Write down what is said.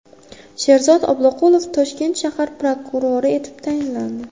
Sherzod Obloqulov Toshkent shahar prokurori etib tayinlandi.